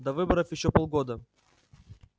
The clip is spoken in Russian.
до выборов ещё полгода